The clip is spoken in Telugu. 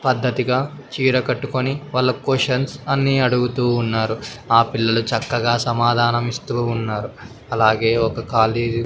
పద్ధతిగా చీర కట్టుకొని వాళ్ళ కొషన్స్ అన్ని అడుగుతూ ఉన్నారు. ఆ పిల్లలు చక్కగా సమాధానం ఇస్తూ ఉన్నారు అలాగే ఒక కాలేజీ --